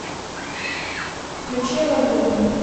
включи олодум